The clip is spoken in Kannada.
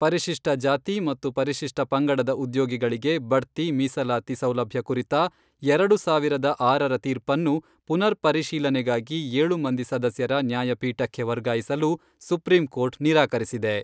ಪರಿಶಿಷ್ಟ ಜಾತಿ ಮತ್ತು ಪರಿಶಿಷ್ಟ ಪಂಗಡದ ಉದ್ಯೋಗಿಗಳಿಗೆ ಬಡ್ತಿ ಮಿಸಲಾತಿ ಸೌಲಭ್ಯ ಕುರಿತ ಎರಡು ಸಾವಿರದ ಆರರ ತೀರ್ಪನ್ನು ಪುನರ್ ಪರಿಶೀಲನೆಗಾಗಿ ಏಳು ಮಂದಿ ಸದಸ್ಯರ ನ್ಯಾಯಪೀಠಕ್ಕೆ ವರ್ಗಾಯಿಸಲು ಸುಪ್ರೀಂ ಕೋರ್ಟ್ ನಿರಾಕರಿಸಿದೆ.